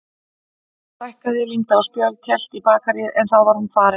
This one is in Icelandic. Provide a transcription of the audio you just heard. Stækkaði, límdi á spjöld, hélt í bakaríið en þá var hún farin.